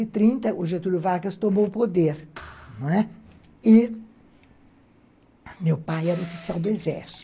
e trinta, o Getúlio Vargas tomou o poder, não é? e meu pai era oficial do Exército.